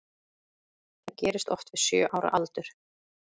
Það gerist oft við sjö ára aldur.